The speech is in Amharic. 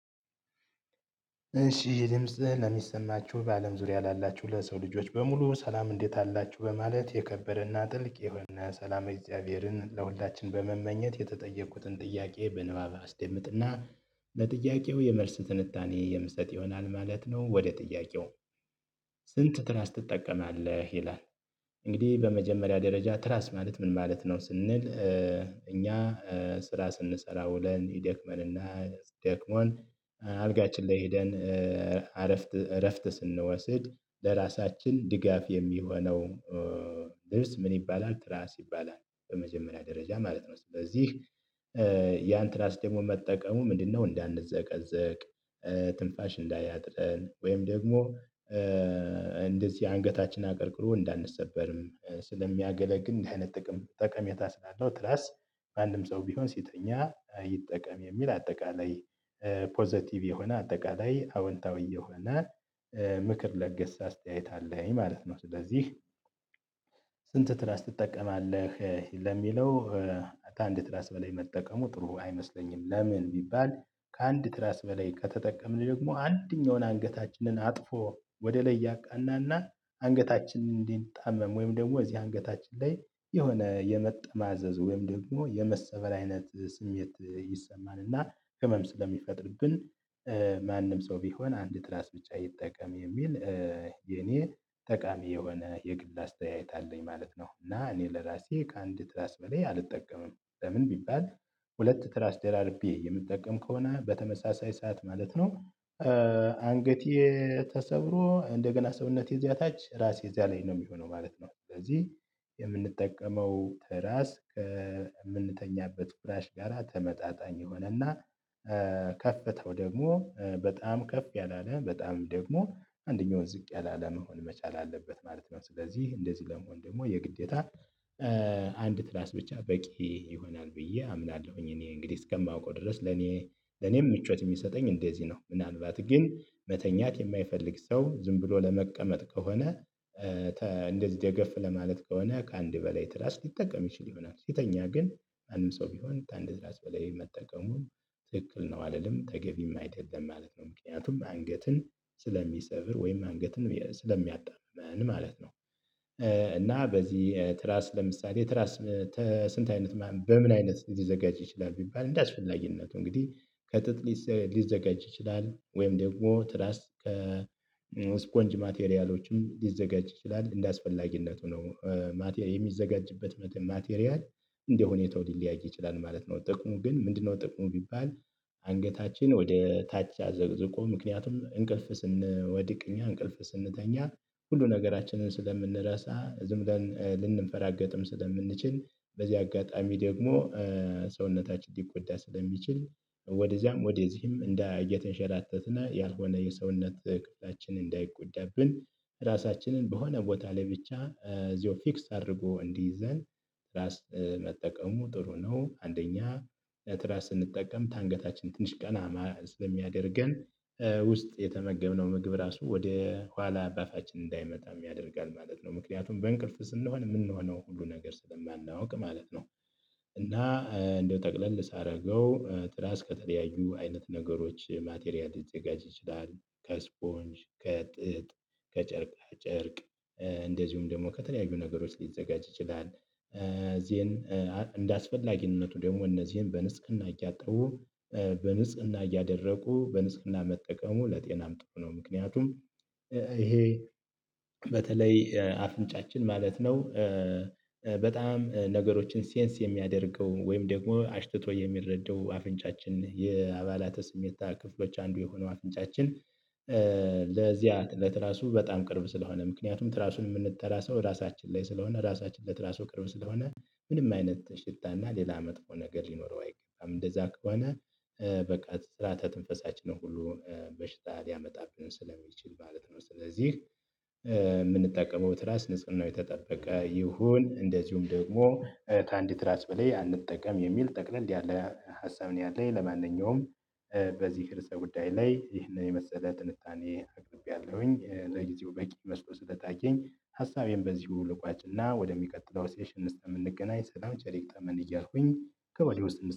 እሺ ድምጽ ለሚሰማችሁ በአለም ዙሪያ ላላችሁ ለሰው ልጆች በሙሉ ሰላም እንዴት አላችሁ በማለት የከበረና ጥልቅ የሆነ ሰላም እግዚአብሔርን ለሁላችን በመመኘት የተጠየቁትን ጥያቄ በንባብ አስደምጥና ለጥያቄው የመልስ ትንታኔ የምሰጥ ይሆናል ማለት ነው። ወደ ጥያቄው? ስንት ትራስ ትጠቀማለህ ይላል። እንግዲህ በመጀመሪያ ደረጃ ትራስ ማለት ምን ማለት ነው ስንል እኛ። ስራ ስንሰራ ውለን ይደክመንና ደክሞን አልጋችን ላይ ሄደን አረፍት እረፍት ስንወስድ ለራሳችን ድጋፍ የሚሆነው። ልብስ ምን ይባላል ትራስ ይባላል በመጀመሪያ ደረጃ ማለት ነው። ስለዚህ ያን ትራስ ደግሞ መጠቀሙ ምንድነው እንዳንዘቀዘቅ። ትንፋሽ እንዳያጥረን ወይም ደግሞ። እንደዚህ አንገታችን አቅርቅሮ እንዳንሰበርም ስለሚያገለግል እንደዚህ አይነት ጥቅም ጠቀሜታ ስላለው ትራስ። ማንም ሰው ቢሆን ሲተኛ ይጠቀም የሚል አጠቃላይ ፖዘቲቭ የሆነ አጠቃላይ አዎንታዊ የሆነ ምክር ለገሰ አስተያየት አለኝ ማለት ነው። ስለዚህ ስንት ትራስ ትጠቀማለህ ለሚለው። አንድ ትራስ በላይ መጠቀሙ ጥሩ አይመስለኝም። ለምን ቢባል ከአንድ ትራስ በላይ ከተጠቀምን ደግሞ አንደኛውን አንገታችንን አጥፎ ወደ ላይ ያቃናና አንገታችንን እንዲጣመም ወይም ደግሞ እዚህ አንገታችን ላይ የሆነ የመጣማዘዝ ወይም ደግሞ የመሰበር አይነት ስሜት ይሰማናል እና ህመም ስለሚፈጥርብን። ማንም ሰው ቢሆን አንድ ትራስ ብቻ ይጠቀም የሚል። የኔ ጠቃሚ የሆነ የግል አስተያየት አለኝ ማለት ነው። እና እኔ ለራሴ ከአንድ ትራስ በላይ አልጠቀምም። ለምን ቢባል። ሁለት ትራስ ደራርቤ የምጠቀም ከሆነ በተመሳሳይ ሰዓት ማለት ነው። አንገቴ ተሰብሮ እንደገና ሰውነቴ እዚያ ታች ራሴ እዚያ ላይ ነው የሚሆነው ማለት ነው። ስለዚህ የምንጠቀመው ተራስ ከምንተኛበት ፍራሽ ጋራ ተመጣጣኝ የሆነና። ከፍታው ደግሞ በጣም ከፍ ያላለ በጣም ደግሞ አንደኛውን ዝቅ ያላለ መሆን መቻል አለበት ማለት ነው። ስለዚህ እንደዚህ ለመሆን ደግሞ የግዴታ አንድ ትራስ ብቻ በቂ ይሆናል ብዬ አምናለሁኝ። እኔ እንግዲህ እስከማውቀው ድረስ ለኔ ለኔም ምቾት የሚሰጠኝ እንደዚህ ነው። ምናልባት ግን መተኛት የማይፈልግ ሰው ዝም ብሎ ለመቀመጥ ከሆነ። እንደዚህ ደገፍ ለማለት ከሆነ ከአንድ በላይ ትራስ ሊጠቀም ይችል ይሆናል። ሲተኛ ግን ማንም ሰው ቢሆን ከአንድ ትራስ በላይ መጠቀሙን ትክክል ነው አልልም ተገቢም አይደለም ማለት ነው። ምክንያቱም አንገትን ስለሚሰብር ወይም አንገትን ስለሚያጣምም ማለት ነው። እና በዚህ ትራስ ለምሳሌ ትራስ ተስንት አይነት ማን በምን አይነት ሊዘጋጅ ይችላል ቢባል እንደ አስፈላጊነቱ እንግዲህ ከጥጥ ሊዘጋጅ ይችላል ወይም ደግሞ ትራስ ከስፖንጅ ማቴሪያሎችም ሊዘጋጅ ይችላል እንደ አስፈላጊነቱ ነው። የሚዘጋጅበት መትን ማቴሪያል እንደሆነ ሁኔታው እንደ ሁኔታው ሊለያይ ይችላል ማለት ነው። ጥቅሙ ግን ምንድነው? ጥቅሙ ቢባል። አንገታችን ወደ ታች አዘቅዝቆ ምክንያቱም እንቅልፍ ስንወድቅ እኛ እንቅልፍ ስንተኛ ሁሉ ነገራችንን ስለምንረሳ ዝም ብለን ልንፈራገጥም ስለምንችል በዚህ አጋጣሚ ደግሞ ሰውነታችን ሊጎዳ ስለሚችል ወደዚያም ወደዚህም እንዳ እየተንሸራተትነ ያልሆነ የሰውነት እቅዳችንን እንዳይጎዳብን። ራሳችንን በሆነ ቦታ ላይ ብቻ እዚሁ ፊክስ አድርጎ እንዲይዘን ራስ መጠቀሙ ጥሩ ነው። አንደኛ ለትራስ ስንጠቀም ታንገታችን ትንሽ ቀና ስለሚያደርገን ውስጥ የተመገብነው ምግብ ራሱ ወደ ኋላ በአፋችን እንዳይመጣም ያደርጋል ማለት ነው። ምክንያቱም በእንቅልፍ ስንሆን የምንሆነው ሁሉ ነገር ስለማናውቅ ማለት ነው። እና እንደው ጠቅለል ሳደርገው ትራስ ከተለያዩ አይነት ነገሮች ማቴሪያል ሊዘጋጅ ይችላል ከስፖንጅ ከጥጥ ከጨርቃ ጨርቅ እንደዚሁም ደግሞ ከተለያዩ ነገሮች ሊዘጋጅ ይችላል። እዚህን እንደ አስፈላጊነቱ ደግሞ እነዚህን በንጽህና እያጠቡ በንጽህና እያደረጉ በንጽህና መጠቀሙ ለጤናም ጥሩ ነው። ምክንያቱም ይሄ በተለይ አፍንጫችን ማለት ነው። በጣም ነገሮችን ሴንስ የሚያደርገው ወይም ደግሞ አሽትቶ የሚረዳው አፍንጫችን የአባላተ ስሜታ ክፍሎች አንዱ የሆነው አንዱ አፍንጫችን። ለዚያ እለት ለትራሱ በጣም ቅርብ ስለሆነ ምክንያቱም ትራሱን ምንንተራሰው ሰው ራሳችን ላይ ስለሆነ ራሳችን ለትራሱ ቅርብ ስለሆነ። ምንም አይነት ሽታና ሌላ መጥፎ ነገር ሊኖረው አይገባም እንደዛ ከሆነ በቃ ስራተ ትንፈሳችን ሁሉ በሽታ ሊያመጣብን ስለሚችል ማለት ነው። ስለዚህ የምንጠቀመው ትራስ ንጽህናው የተጠበቀ ይሁን። እንደዚሁም ደግሞ ከአንድ ትራስ በላይ አንጠቀም የሚል ጠቅለል ያለ ሀሳብ ነው ያለኝ። ለማንኛውም በዚህ ርዕሰ ጉዳይ ላይ ይህንን የመሰለ ጥንታኔ አቅርቤያለሁኝ ለጊዜው በቂ መስሎ ስለታየኝ ሀሳቤን በዚሁ ልቋጭና ወደሚቀጥለው ሴሽን እስተ የምንገናኝ ሰላም ቼሌ ይግጠመንክ እያልኩኝ ከወዲህ ውስጥ